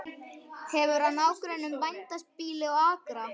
Hefur að nágrönnum bændabýli og akra.